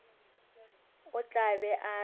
o tla be a re